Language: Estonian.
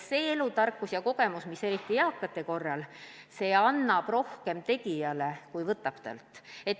See elutarkus ja kogemus, mida eakad jagada saavad, annab tegijale rohkem, kui võtab talt.